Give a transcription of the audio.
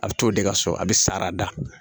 A bɛ t'o de ka so a bɛ sara da